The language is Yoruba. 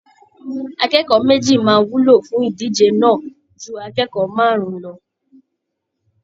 Akẹ́kọ̀ọ́ méjì máa wúlò fún ìdíje náà ju akẹ́kọ̀ọ́ márùn-ún lọ